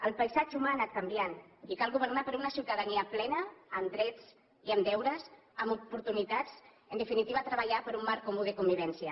el paisatge humà ha anat canviant i cal governar per a una ciutadania plena amb drets i amb deures amb oportunitats en definitiva treballar per un marc comú de convivència